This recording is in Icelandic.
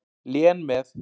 Lén með.